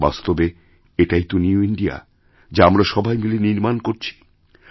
বাস্তবে এটাই তো নিউ ইন্ডিয়া যা আমরা সবাই মিলেনির্মাণ করছি